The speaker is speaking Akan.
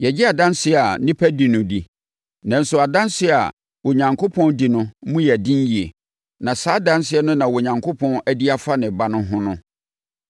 Yɛgye adanseɛ a nnipa di no di; nanso adanseɛ a Onyankopɔn di no mu yɛ den yie. Na saa adanseɛ no na Onyankopɔn adi afa ne Ba no ho no.